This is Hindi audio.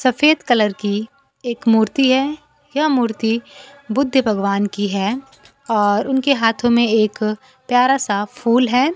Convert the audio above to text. सफेद कलर की एक मूर्ति है यह मूर्ती बुद्ध भगवान की है और उनके हाथों में एक प्यारा सा फूल है।